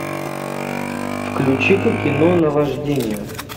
включи ка кино наваждение